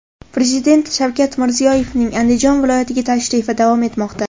Prezident Shavkat Mirziyoyevning Andijon viloyatiga tashrifi davom etmoqda.